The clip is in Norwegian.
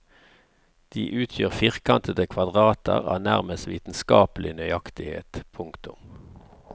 De utgjør firkantede kvadrater av nærmest vitenskapelig nøyaktighet. punktum